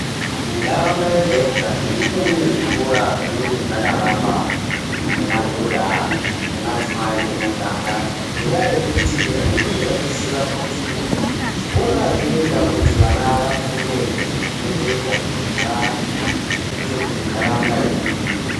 Mundaraunda yega-yega munenge mune zvikora zvinenge zvakawakwa nemadhodha nemadzimai emuganga ngendaa yekuti vanenge vachiziva kuti zvikora zvinoita kuti vana vafunde zvinhu zvinozoita kuti vaite kuti ndaraunda ibudirire.